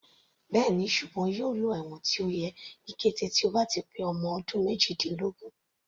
Bẹ́ẹ̀ni, ṣùgbọ́n yóò lọ ẹ̀wọ̀n tó yẹ ní kété tó bá ti pé ọmọ ọdún méjìdínlógún.